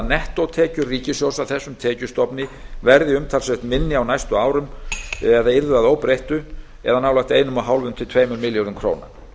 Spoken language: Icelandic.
nettótekjur ríkissjóðs af þessum tekjustofni yrðu að óbreyttu umtalsvert minni á næstu árum nálægt eins og hálft til tveimur milljörðum króna